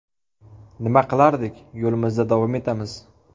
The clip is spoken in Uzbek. Nima qilardik, yo‘limizda davom etamiz.